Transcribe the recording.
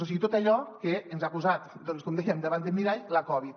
o sigui tot allò que ens ha posat com dèiem davant del mirall la covid